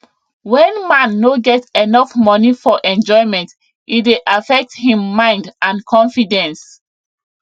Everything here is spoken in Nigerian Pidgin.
when man no get enough money for enjoyment e dey affect him mind and confidence